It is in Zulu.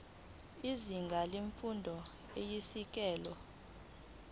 izinga lemfundo eyisisekelo